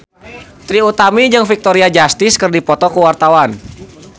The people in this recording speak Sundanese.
Trie Utami jeung Victoria Justice keur dipoto ku wartawan